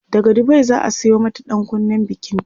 daga Dubai zaa Sayo mata ɗankunnen bikinta